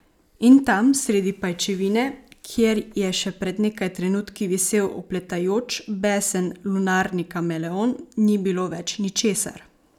In tam, sredi pajčevine, kjer je še pred nekaj trenutki visel opletajoč, besen lunarni kameleon, ni bilo več ničesar.